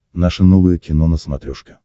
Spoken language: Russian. наше новое кино на смотрешке